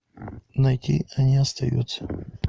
найти они остаются